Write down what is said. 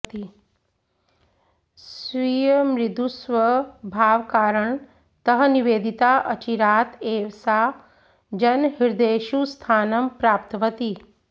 स्वीयमृदुस्वभावकारणतः निवेदिता अचिरात् एव सा जनहृदयेषु स्थानं प्राप्तवती